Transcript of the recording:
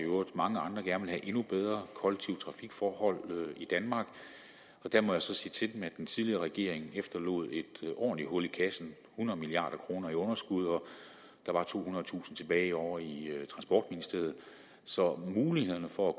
mange andre gerne vil have endnu bedre kollektive trafikforhold i danmark der må jeg så sige til dem at den tidligere regering efterlod et ordentligt hul i kassen hundrede milliard kroner i underskud og der var tohundredetusind kroner tilbage ovre i transportministeriet så mulighederne for at